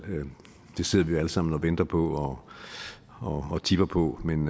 det sidder vi jo alle sammen og venter på og tipper på men